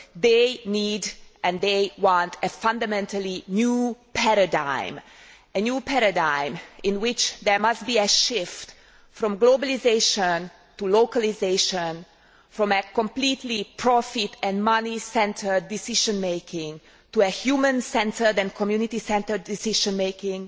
They need, and they want, a fundamentally new paradigm, in which there must be a shift from globalisation to localisation, from completely profit and money centred decision making to human centred and community centred decision making,